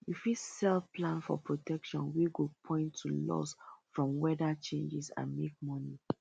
you fit sell plan for protection wey go point to loss from weather changes and make money